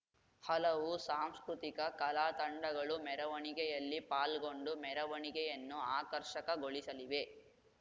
ಹಲವು ಸಾಂಸ್ಕೃತಿಕ ಕಲಾ ತಂಡಗಳು ಮೆರವಣಿಗೆಯಲ್ಲಿ ಪಾಲ್ಗೊಂಡು ಮೆರವಣಿಗೆಯನ್ನು ಆಕರ್ಷಕಗೊಳಿಸಲಿವೆ